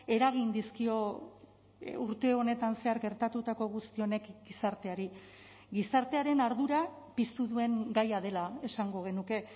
eragin dizkio urte honetan zehar gertatutako guzti honek gizarteari gizartearen ardura piztu duen gaia dela esango genuke